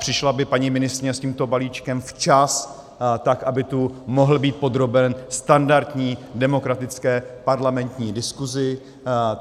Přišla by paní ministryně s tímto balíčkem včas, tak aby tu mohl být podroben standardní demokratické parlamentní diskusi.